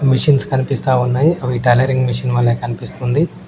Machines కనిపిస్తా ఉన్నాయి అవి టైలరింగ్ మిషిన్ వలె కనిపిస్తుంది.